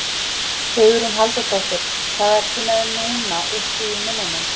Hugrún Halldórsdóttir: Hvað ertu með núna uppi í munninum?